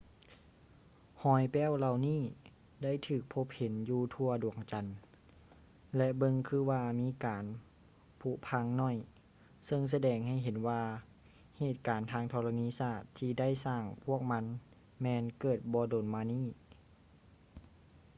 ຮອຍແປ້ວເຫຼົ່ານີ້ໄດ້ຖືກພົບເຫັນຢູ່ທົ່ວດວງຈັນ ແລະ ເບິ່ງຄືວ່າມີການຜຸພັງໜ້ອຍ ເຊິ່ງສະແດງໃຫ້ເຫັນວ່າເຫດການທາງທໍລະນີສາດທີ່ໄດ້ສ້າງພວກມັນແມ່ນເກີດບໍ່ດົນມານີ້